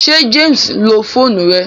Ṣé James ǹlo fóònù rẹ?